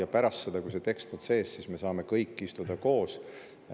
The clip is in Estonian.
Ja pärast seda, kui see tekst on, me saame kõik istuda koos.